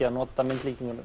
að nota myndlíkinguna